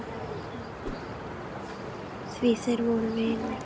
Því þeir voru vinir.